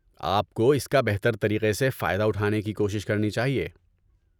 آپ کو اس کا بہتر طریقے سے فائدہ اٹھانے کی کوشش کرنی چاہیے۔